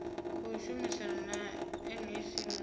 khou shumisana na mec muwe